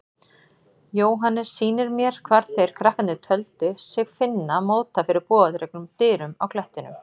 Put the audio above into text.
Jóhannes sýnir mér hvar þeir krakkarnir töldu sig finna móta fyrir bogadregnum dyrum á klettinum.